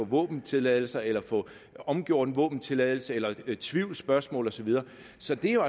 våbentilladelse eller få omgjort en våbentilladelse eller med tvivlsspørgsmål og så videre så det er